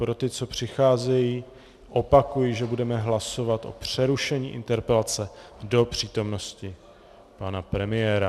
Pro ty, co přicházejí, opakuji, že budeme hlasovat o přerušení interpelace do přítomnosti pana premiéra.